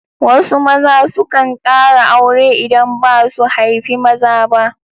Wasu maza sukan ƙara aure idan ba su haifi maza ba.